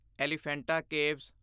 Elephanta caves